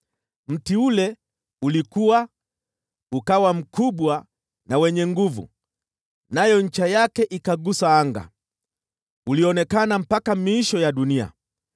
Mti ule ulikua, ukawa mkubwa na wenye nguvu, nayo ncha yake ikagusa anga; ulionekana mpaka miisho ya dunia.